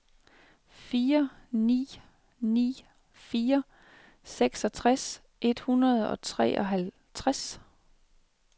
fire ni ni fire seksogtres et hundrede og treoghalvtreds